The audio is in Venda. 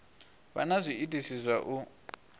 vha na zwiitisi zwa u